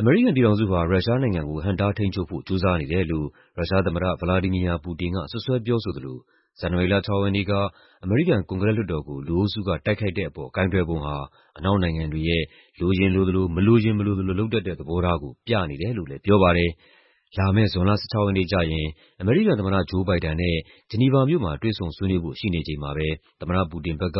အမေရိကန်ပြည်ထောင်စုဟာ ရုရှားနိုင်ငံကို ဟန့်တားထိန်းချုပ်ဖို့ ကြိုးစားနေတယ်လို့ ရုရှားသမ္မတ ဗလာဒီမီယာ ပူတင်က စွပ်စွဲပြောဆိုသလို ဇန်နဝါရီလ ၆ ရက်နေ့က အမေရိကန် ကွန်ဂရက်လွှတ်တော်ကို လူအုပ်စုက တိုက်ခိုက်တဲ့အပေါ် ကိုင်တွယ်ပုံဟာ အနောက်နိုင်ငံတွေရဲ့ လိုရင်လိုသလို မလိုရင် မလိုသလို လုပ်တတ်တဲ့ သဘောထားကို ပြနေတယ်လို့လည်း ပြောပါတယ်။ လာမယ့် ဇွန်လ ၁၆ ရက်နေ့ကျရင် အမေရိကန်သမ္မတ ဂျိုးဘိုင်ဒန်နဲ့ ဂျီနီဗာမြို့မှာ တွေ့ဆုံဆွေးနွေးဖို့ ရှိနေချိန်မှာပဲ သမ္မတပူတင်ဘက်က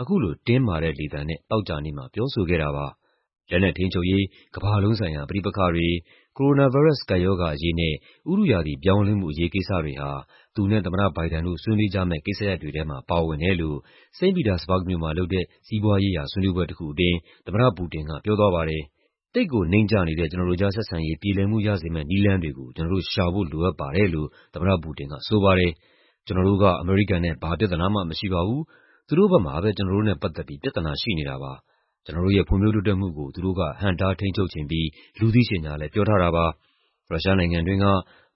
အခုလို တင်းမာတဲ့လေသံနဲ့ သောကြာနေ့မှာ ပြောဆိုခဲ့တာပါ။ လက်နက်ထိန်းချုပ်ရေး၊ ကမ္ဘာလုံးဆိုင်ရာ ပဋိပက္ခတွေ၊ ကိုရိုနာဗိုင်းရပ်စ် ကပ်ရောဂါအရေးနဲ့ ဥတုရာသီ ပြောင်းလဲမှု အရေးကိစ္စတွေဟာ သူနဲ့ သမ္မတဘိုင်ဒန်တို့ ဆွေးနွေးကြမယ့် ကိစ္စရပ်တွေထဲမှာ ပါဝင်တယ်လို့ စိန့်ပီတာစဘာ့ဂ်မြို့မှာလုပ်တဲ့ စီးပွားရေးရာ ဆွေးနွေးပွဲတခုအတွင်း သမ္မတပူတင်က ပြောသွားပါတယ်။ "သိပ်ကိုနိမ့်ကျနေတဲ့ ကျနော်တို့ကြား ဆက်ဆံရေး ပြေလည်မှုရစေမယ့် နည်းလမ်းတွေကို ကျနော်တို့ ရှာဖို့လိုအပ်ပါတယ်" လို့ သမ္မတပူတင်က ပြောပါတယ်။ "ကျနော်တို့က အမေရိကန်နဲ့ ဘာပြဿနာမှ မရှိပါဘူး။ သူတို့ဘက်မှာပဲ ကျနော်တို့နဲ့ပတ်သက်ပြီး ပြဿနာရှိနေတာပါ။ ကျနော်တို့ရဲ့ ဖွံ့ဖြိုးတိုးတက်မှုကို သူတို့က ဟန့်တားထိန်းချုပ်ချင်ပြီး လူသိရှင်ကြားလည်း ပြောထားတာပါ။ ရုရှားနိုင်ငံတွင်းက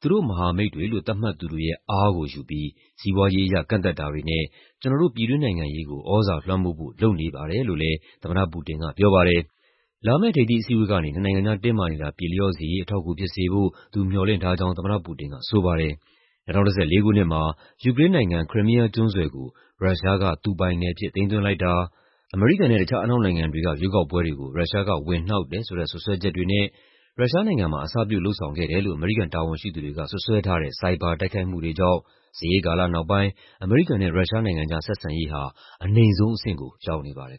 သူတို့မဟာမိတ်တွေလို့ သတ်မှတ်သူတွေရဲ့ အားကိုယူပြီး စီးပွားရေးအရ ကန့်သတ်တာတွေနဲ့ ကျနော်တို့ ပြည်တွင်းနိုင်ငံရေးကို သြဇာလွှမ်းမိုးဖို့ လုပ်နေပါတယ်" လို့လည်း သမ္မတပူတင်က ပြောပါတယ်။ လာမယ့် ထိပ်သီးအစည်းအဝေးကနေ နှစ်နိုင်ငံကြား တင်းမာနေတာ ပြေလျော့စေရေး အထောက်အကူဖြစ်စေဖို့ သူမျှော်လင့်ထားကြောင်း သမ္မတပူတင်က ဆိုပါတယ်။ ၂၀၁၄ ခုနှစ်မှာ ယူကရိန်းနိုင်ငံ၊ Crimea ကျွန်းဆွယ်ကို ရုရှားက သူပိုင်နယ်အဖြစ် သိမ်းသွင်းလိုက်တာ၊ အမေရိကန်နဲ့ တခြားအနောက်နိုင်ငံတွေက ရွေးကောက်ပွဲတွေကို ရုရှားက ဝင်နှောက်တယ်ဆိုတဲ့ စွပ်စွဲချက်တွေနဲ့ ရုရှားနိုင်ငံမှာ အစပြု လုပ်ဆောင်တယ်လို့ အမေရိကန် တာဝန်ရှိသူတွေက စွပ်စွဲထားတဲ့ ဆိုင်ဘာတိုက်ခိုက်မှုတွေကြောင့် စစ်အေးကာလနောက်ပိုင်း အမေရိကန်နဲ့ ရုရှားနိုင်ငံကြား ဆက်ဆံရေးဟာ အနိမ့်ဆုံးအဆင့်ကို ရောက်နေပါတယ်